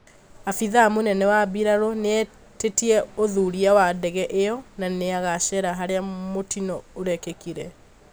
Aabithaa mũnene wa mbirarũ nĩetĩtie ũthũria wa ndege ĩyo na nĩagacera haria mũtino ũrekĩkĩire